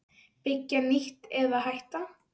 Byggja nýtt- eða hætta?